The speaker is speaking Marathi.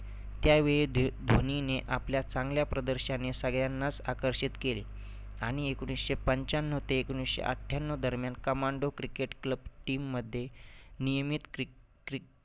त्यावेळी दि धोनीने आपल्या चांगल्या प्रदर्शाने सगळ्यांनाच आकर्षित केले. आणि एकोणीसशे पंच्याण्णव ते एकोणीसशे अठ्ठ्याण्णव दरम्यान Commando cricket club team मध्ये नियमीत क्रि क्रि